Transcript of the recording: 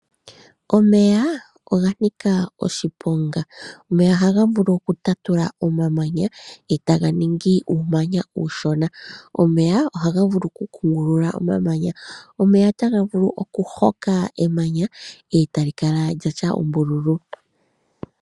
Omeya oga nika oshiponga. Ohaga vulu okutatula omamanya e taga ningi uumanya uushona. Omeya ohaga vulu oku kungulula omamanya. Omeya otaga vulu okuhoka emanya etali kala lyatya ombululu.